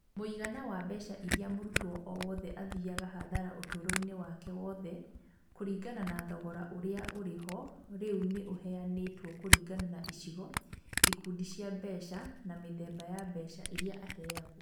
Mũigana wa mbeca iria mũrutwo o wothe athiaga hathara ũtũũro-inĩ wake wothe kũringana na thogora ũrĩa ũrĩ ho rĩu nĩ ũheanĩtwo kũringana na icigo, ikundi cia mbeca, na mĩthemba ya mbeca iria aheagwo.